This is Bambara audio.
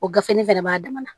O gafe fɛnɛ b'a dama na